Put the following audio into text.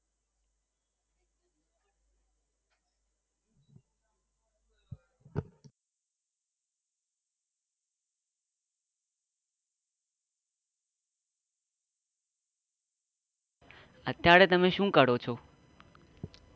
અત્તયારે મે શું કરો છો?